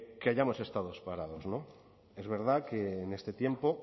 que hayamos estado parados es verdad que en este tiempo